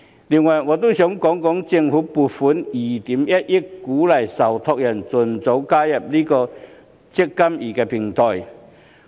另外，我想講一講政府撥款2億 1,000 萬元鼓勵受託人盡早加入"積金易"平台。